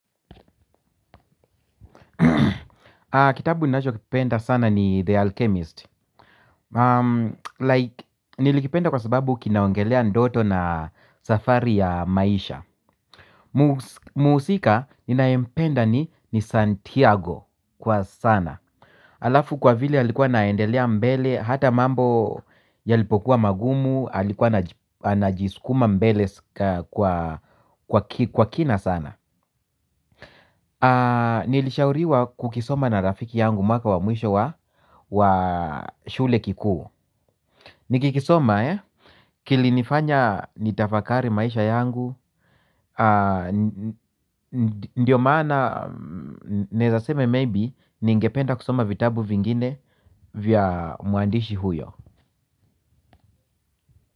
Kitabu ninachokipenda sana ni The Alchemist. Nilikipenda kwa sababu kinaongelea ndoto na safari ya maisha. Muhusika ninayempenda ni Santiago kwa sana alafu kwa vile alikuwa anaendelea mbele ata mambo yalipokuwa magumu alikuwa ana jiskuma mbele kwa kina sana. Nilishauriwa kukisoma na rafiki yangu mwaka wa mwisho wa wa shule kikuu. Nikikisoma kilinifanya nitafakari maisha yangu. Ndiyo maana naezasema maybe. Ningependa kusoma vitabu vingine vya mwandishi huyo.